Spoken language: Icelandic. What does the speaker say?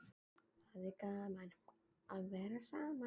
Íslendingum ætti því að fela ákveðna sjálfstjórn undir merki Danakonungs.